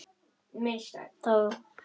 Þá er lesið